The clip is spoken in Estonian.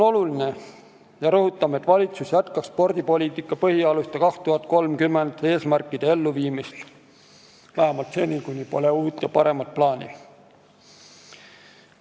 Rõhutame selle olulisust, et valitsus jätkaks "Spordipoliitika põhialuste aastani 2030" eesmärkide elluviimist vähemalt seni, kuni pole uut ja paremat plaani.